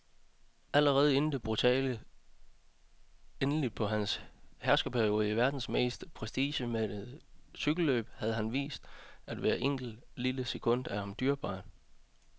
Allerede inden det brutale endeligt på hans herskerperiode i verdens mest prestigemættede cykelløb havde han vist, at hvert enkelt, lille sekund er ham dyrebart.